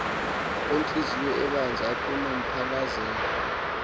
ontliziyo ibanzi anokumphalazela